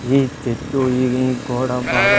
ఈ చెట్టు ఈ గోడ బాగా.